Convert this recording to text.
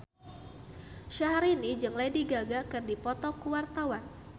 Syahrini jeung Lady Gaga keur dipoto ku wartawan